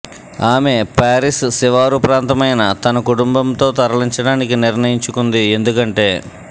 ఆమె పారిస్ శివారు ప్రాంతమైన తన కుటుంబంతో తరలించడానికి నిర్ణయించుకుంది ఎందుకంటే